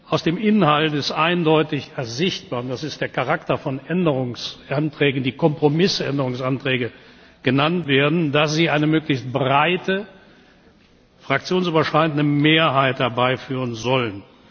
Aus dem Inhalt ist eindeutig ersichtlich das ist der Charakter von Änderungsanträgen, die Kompromissänderungsanträge genannt werden dass sie eine möglichst breite fraktionsübergreifende Mehrheit herbeiführen sollen.